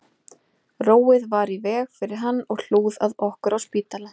Róið var í veg fyrir hann og hlúð að okkur á spítala